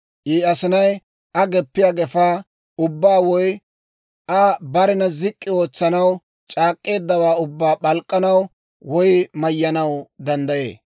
I asinay Aa geppiyaa gefaa ubbaa woy Aa barena zik'k'i ootsanaw c'aak'k'eeddawaa ubbaa p'alk'k'anaw woy eeno gaanaw danddayee.